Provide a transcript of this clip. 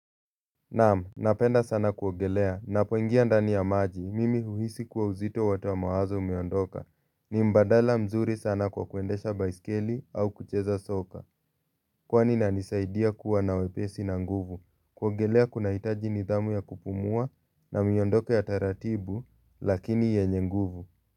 Naam, napenda sana kuogelea, ninapoingia ndani ya maji, mimi uhisi kuwa uzito wote wa mawazo umeondoka, ni mbadala mzuri sana kwa kuendesha baiskeli au kucheza soka, kwani inanisaidia kuwa na wepesi na nguvu, kuogelea kuna hitaji nidhamu ya kupumua na miondoka ya taratibu, lakini yenye nguvu.